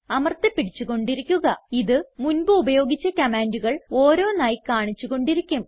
അമർത്തി പിടിച്ചു കൊണ്ടിരിക്കുക ഇത് മുൻപ് ഉപയോഗിച്ച കമാൻഡുകൾ ഓരോന്നായി കാണിച്ചു കൊണ്ടിരിക്കും